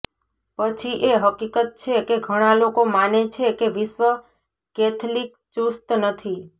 પછી એ હકીકત છે કે ઘણા લોકો માને છે કે વિશ્વ કૅથલિક ચુસ્ત નથી